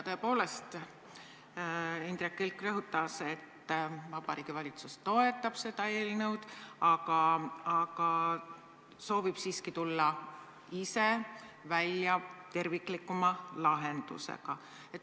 Tõepoolest, Indrek Kilk rõhutas, et Vabariigi Valitsus toetab seda eelnõu, aga soovib siiski tulla ise välja terviklikuma lahendusega.